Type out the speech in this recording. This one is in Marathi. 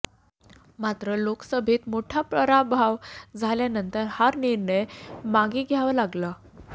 मात्र लोकसभेत मोठा पराभव झाल्यानतंर हा निर्णय मागे घ्यावा लागला